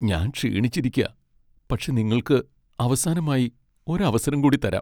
ഞാൻ ക്ഷീണിച്ചിരിക്കാ. പക്ഷെ നിങ്ങൾക്ക് അവസാനമായി ഒരു അവസരം കൂടി തരാം.